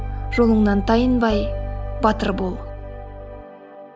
жолыңнан тайынбай батыр бол